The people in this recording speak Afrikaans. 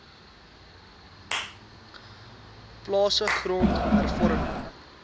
plase grond hervorming